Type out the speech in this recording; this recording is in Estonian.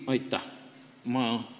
Ei, aitäh!